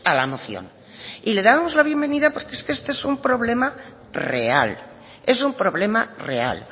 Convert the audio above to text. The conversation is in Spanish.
la moción y le dábamos la bienvenida porque es que esto es un problema real es un problema real